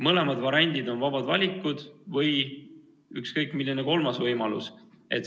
Mõlemad variandid on vabad valikud või ka ükskõik milline kolmas võimalus.